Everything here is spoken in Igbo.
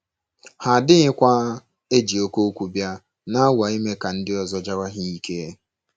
Ha adịghịkwa ‘ eji oké okwu bịa, ’ na - anwa ime ka ndị ọzọ jawa ha ike.